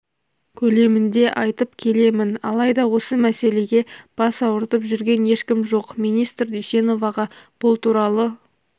көлемінде айтып келемін алайда осы мәселеге бас ауыртып жүрген ешкім жоқ министр дүйсеноваға бұл туралы